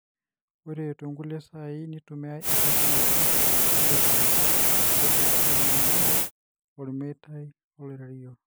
ore tongulie sai nitumiyiai entoki naaji laser aditayunyie olmeitai oloirerio.